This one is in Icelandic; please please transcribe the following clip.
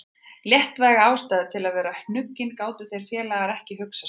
Léttvægari ástæðu til að vera hnuggin gátu þeir félagar ekki hugsað sér.